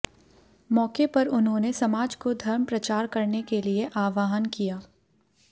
मौके पर उन्होंने समाज को धर्म प्रचार करने के लिए आह्वान किया